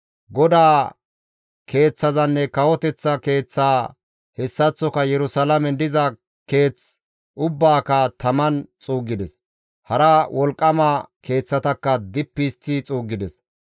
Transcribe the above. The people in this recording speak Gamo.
GODAA Keeththazanne kawoteththa keeththaa hessaththoka Yerusalaamen diza keeth ubbaaka taman xuuggides; hara wolqqama keeththatakka dippi histti xuuggides.